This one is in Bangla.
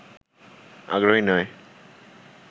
আগ্রহী নয়